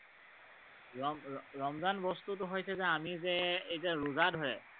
ৰমৰমজান বস্তুটো হৈছে আমি যে, এই যে ৰোজা ধৰে